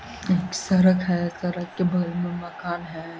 एक सड़क है। सड़क के बगल में मकान है।